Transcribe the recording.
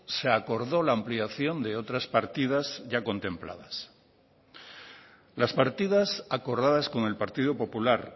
se acordó la ampliación de otras partidas ya contempladas las partidas acordadas con el partido popular